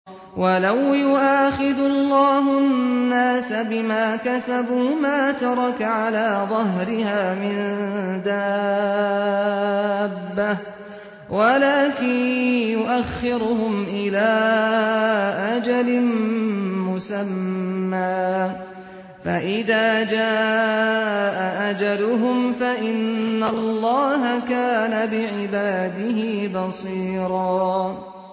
وَلَوْ يُؤَاخِذُ اللَّهُ النَّاسَ بِمَا كَسَبُوا مَا تَرَكَ عَلَىٰ ظَهْرِهَا مِن دَابَّةٍ وَلَٰكِن يُؤَخِّرُهُمْ إِلَىٰ أَجَلٍ مُّسَمًّى ۖ فَإِذَا جَاءَ أَجَلُهُمْ فَإِنَّ اللَّهَ كَانَ بِعِبَادِهِ بَصِيرًا